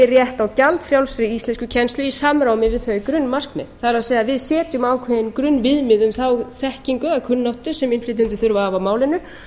rétt á gjaldfrjálsri íslenskukennslu í samræmi við þau grunnmarkmið það er að við setjum ákveðin grunnviðmið um þá þekkingu eða kunnáttu sem innflytjendur þurfi að hafa á málinu